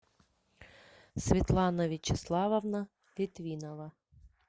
светлана вячеславовна литвинова